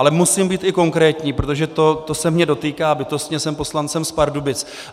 Ale musím být i konkrétní, protože to se mě dotýká bytostně, jsem poslancem z Pardubic.